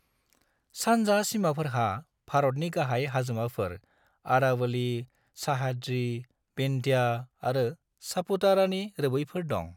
सानजा सिमाफोरहा भारतनि गाहाय हाजोमाफोर आरावली, सह्याद्री, विंध्य आरो सापुतारानि रोबैफोर दं।